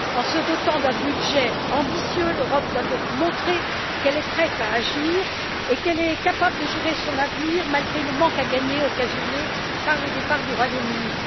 En se dotant d'un budget ambitieux, l'Europe doit donc montrer qu'elle est prête à agir et qu'elle est capable de gérer son avenir malgré le manque à gagner occasionné par le départ du Royaume Uni.